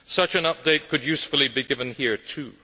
Such an update could usefully be given here too.